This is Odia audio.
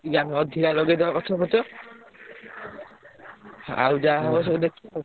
ଜ୍ଞାନ ଅଛି ନା ଲଗେଇଦବ ଗଛ ଫଛ ହାଁ ଆଉ ଯାହା ହବ ସବୁ ଦେଖିବା ଆଉ।